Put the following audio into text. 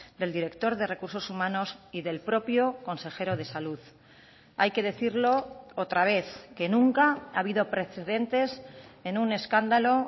del director de recursos humanos y del propio consejero de salud hay que decirlo otra vez que nunca ha habido precedentes en un escándalo